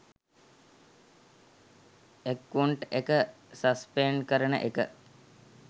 account එක suspend කරන එක